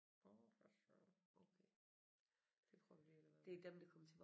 Nåh for Søren okay det prøver vi lige at lade være med